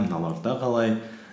мыналарда қалай